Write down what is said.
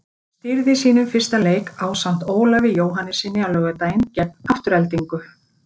Hann stýrði sínum fyrsta leik ásamt Ólafi Jóhannessyni á laugardaginn gegn Aftureldingu.